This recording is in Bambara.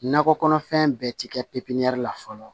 Nakɔ kɔnɔfɛn bɛɛ ti kɛ pipiniyɛri la fɔlɔ